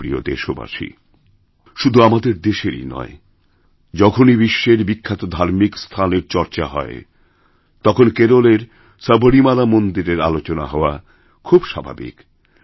আমার প্রিয় দেশবাসী শুধু আমাদের দেশেরইনয় যখনই বিশ্বের বিখ্যাত ধার্মিক স্থানের চর্চা হয় তখন কেরলের সবরীমালা মন্দিরেরআলোচনা হওয়া খুব স্বাভাবিক